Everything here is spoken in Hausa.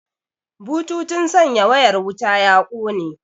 Bututun sanya wayar wuta ya kone